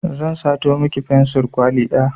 Zan sato miki fensur kwali ɗaya